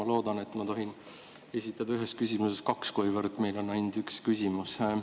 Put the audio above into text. Ma loodan, et ma tohin esitada ühes küsimuses kaks küsimust, kuivõrd meil on ainult üks küsimus.